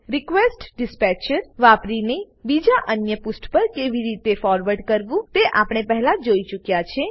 request dispatcher વાપરીને બીજા અન્ય પુષ્ઠ પર કેવી રીતે ફોરવર્ડ કરવું તે આપણે પહેલા જ જોઈ ચુક્યા છીએ